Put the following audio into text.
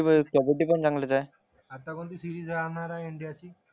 कबड्डी पण चांगलेच आहे आता कोणती सिरीज राहणार आहे इंडियाची